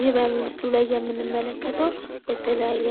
ይህ በምስሉ ላይ የምንመለከተው የተለያየ